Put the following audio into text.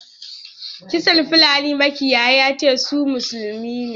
Kisan fulani makiyaya yace su musulmi ne.